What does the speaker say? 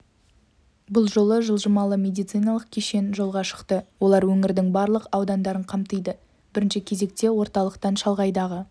бұл жолы жылжымалы медициналық кешен жолға шықты олар өңірдің барлық аудандарын қамтиды бірінші кезекте орталықтан шалғайдағы